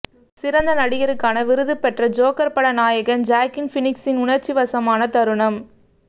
சிறந்த நடிகருக்கான விருது பெற்ற ஜோக்கர் பட நாயகன் ஜாக்கீன் பீனிக்ஸின் உணர்ச்சி வசமான தருணம்